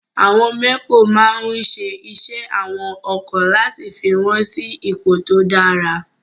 Àwọn mẹ́kò máa ń ṣe iṣẹ́ àwọn ọkọ̀ láti fi wọ́n sí ipò tó dára.